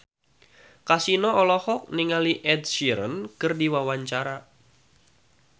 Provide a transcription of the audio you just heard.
Kasino olohok ningali Ed Sheeran keur diwawancara